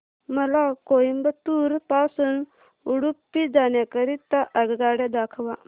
मला कोइंबतूर पासून उडुपी जाण्या करीता आगगाड्या दाखवा